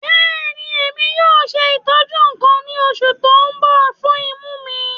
Bẹẹni, Emi yoo ṣe itọju kan ni oṣu ti n bọ fun imu mi